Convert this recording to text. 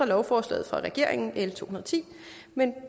lovforslaget fra regeringen l to og ti men